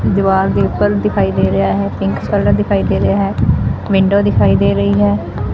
ਦੀਵਾਰ ਦੇ ਉੱਪਰ ਦਿਖਾਈ ਦੇ ਰਿਹਾ ਹੈ ਪਿੰਕ ਕਲਰ ਦਿਖਾਈ ਦੇ ਰਿਹਾ ਹੈ ਵਿੰਡੋ ਦਿਖਾਈ ਦੇ ਰਹੀ ਹੈ।